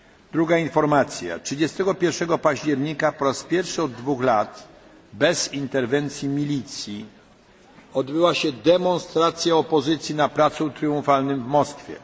Druga informacja 31 października po raz pierwszy od dwóch lat bez interwencji milicji odbyła się demonstracja opozycji na Placu Tryumfalnym w Moskwie.